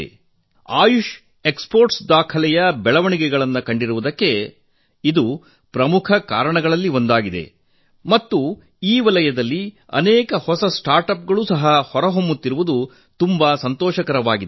ಇದು ಆಯುಷ್ ರಫ್ತು ದಾಖಲೆಯ ಪ್ರಮಾಣ ಏರಿಕೆಯಾಗಿರುವುದಕ್ಕೆ ಪ್ರಮುಖ ಕಾರಣವಾಗಿದೆ ಮತ್ತು ಈ ವಲಯದಲ್ಲಿ ಅನೇಕ ಹೊಸ ನವೋದ್ಯಮಗಳು ಸಹ ಉದಯವಾಗುತ್ತಿರುವುದು ತುಂಬಾ ಸಂತೋಷಕರವಾಗಿದೆ